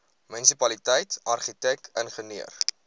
munisipaliteit argitek ingenieur